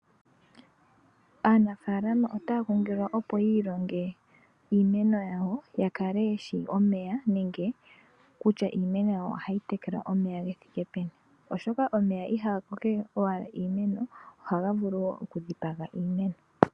Aanafaalama otaa kunkililwa opo yi ilonge iimeno yawo, ya kale ye shi omeya, nenge kutya iimeno yawo oha yi tekelwa omeya ge thike peni, oshoka omeya iha ga kokeke owala iimeno, oha ga vulu wo oku dhipaga iimeno.